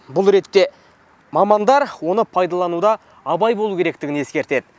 бұл ретте мамандар оны пайдалануда абай болу керектігін ескертеді